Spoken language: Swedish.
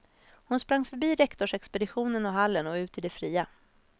Hon sprang förbi rektorsexpeditionen och hallen och ut i det fria.